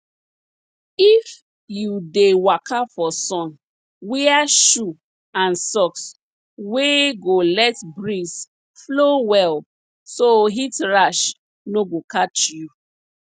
if you dey waka for sun wear shoe and socks wey go let breeze flow well so heat rash no go catch you